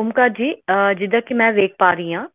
ਓਮਕਾਰ ਜੀ ਜਿਵੇਂ ਕਿ ਮੈਂ ਦੇਖ ਪਾ ਰਹੀ ਹਾਂਅਹ